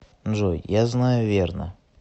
джой я знаю верно